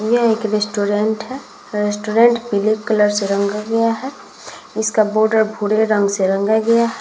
यह एक रेस्टोरेंट है। रेस्टोरेंट पीले कलर से रंगा हुआ है। इसका बॉर्डर भूरे रंग से रंगा गया।